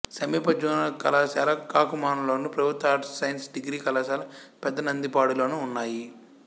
సమీప జూనియర్ కళాశాల కాకుమానులోను ప్రభుత్వ ఆర్ట్స్ సైన్స్ డిగ్రీ కళాశాల పెదనందిపాడులోనూ ఉన్నాయి